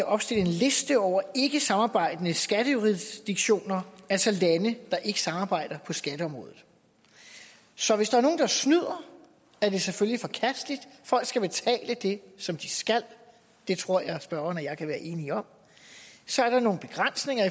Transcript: opstille en liste over ikkesamarbejdende skattejurisdiktioner altså lande der ikke samarbejder på skatteområdet så hvis der er nogen der snyder er det selvfølgelig forkasteligt folk skal betale det som de skal det tror jeg at spørgeren og jeg kan være enige om så er der nogle begrænsninger